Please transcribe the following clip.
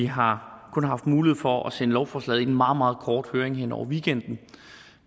har haft mulighed for at sende lovforslaget i en meget meget kort høring hen over weekenden